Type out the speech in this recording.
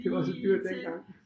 Det var så dyrt dengang